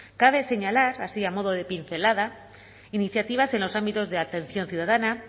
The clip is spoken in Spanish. cabe señalar así a modo de pincelada iniciativas en los ámbitos de atención ciudadana